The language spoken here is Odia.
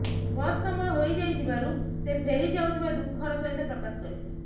ବସ ସମୟ ହୋଇଯାଇଥିବାରୁ ସେ ଫେରି ଯାଉଥିବା ଦୁଃଖର ସହିତ ପ୍ରକାଶ କରିଥିଲେ